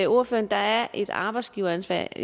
der er et arbejdsgiveransvar jeg